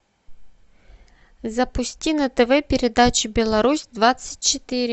запусти на тв передачу беларусь двадцать четыре